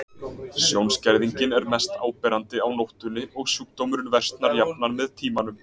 Sjónskerðingin er mest áberandi á nóttunni og sjúkdómurinn versnar jafnan með tímanum.